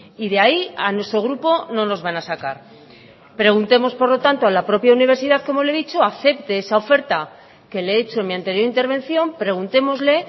y de ahí a nuestro grupo no nos van a sacar preguntemos por lo tanto a la propia universidad como le he dicho acepte esa oferta que le he hecho en mi anterior intervención preguntémosle